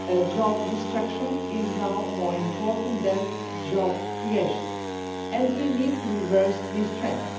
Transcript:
Job destruction is now more important than job creation, and we need to reverse this trend.